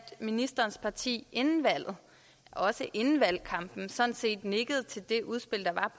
ministerens parti inden valget også inden valgkampen sådan set nikkede til det udspil der